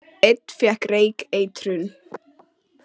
Einn fékk reykeitrun